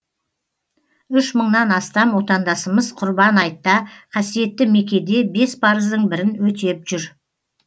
үш мыңнан астам отандасымыз құрбан айтта қасиетті меккеде бес парыздың бірін өтеп жүр